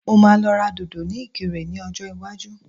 Mo máa lọ ra dòdò ní ìkirè ní ọjọ́ iwájú